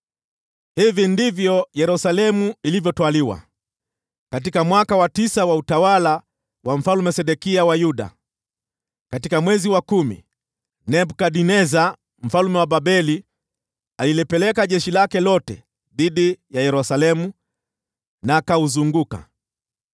Hivi ndivyo Yerusalemu ilivyotwaliwa: Katika mwaka wa tisa wa utawala wa Mfalme Sedekia wa Yuda, katika mwezi wa kumi, Nebukadneza mfalme wa Babeli akiwa na jeshi lake lote alifanya vita dhidi ya Yerusalemu na akauzunguka mji.